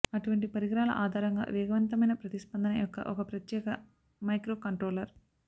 అటువంటి పరికరాల ఆధారంగా వేగవంతమైన ప్రతిస్పందన యొక్క ఒక ప్రత్యేక మైక్రోకంట్రోలర్